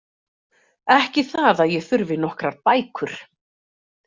Ekki það að ég þurfi nokkrar bækur.